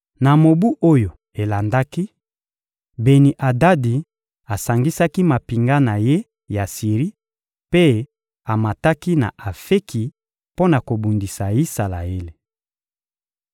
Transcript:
Na mobu oyo elandaki, Beni-Adadi asangisaki mampinga na ye ya Siri mpe amataki na Afeki mpo na kobundisa Isalaele.